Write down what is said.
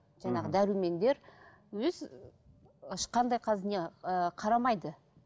мхм жаңағы дәрумендер өз ешқандай қазір не ыыы қарамайды